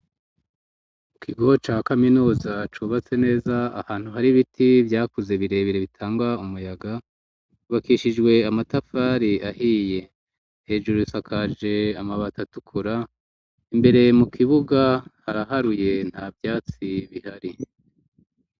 Ikigo ca kaminuza cubatse neza ahantu hari biti vyakuze birebire bitangwa umuyaga kubakishijwe amatafari ahiye hejuru sakaje amabata tukura imbere mu kibuga haraharuye nta vyatsi bihari.